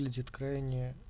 выглядит крайне